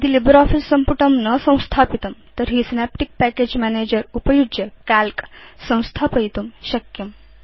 यदि लिब्रियोफिस सम्पुटं न संस्थापितं तर्हि सिनेप्टिक् पैकेज मैनेजर उपयुज्य काल्क संस्थापयितुं शक्यम्